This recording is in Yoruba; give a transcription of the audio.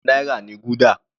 Ẹgbẹrun kan náírà ni gúdà.